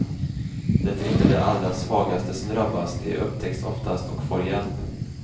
Det är inte de allra svagaste som drabbas, de upptäcks oftast och får hjälp.